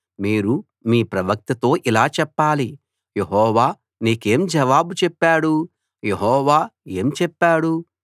మీరు మీ ప్రవక్తతో ఇలా చెప్పాలి యెహోవా నీకేం జవాబు చెప్పాడు యెహోవా ఏం చెప్పాడు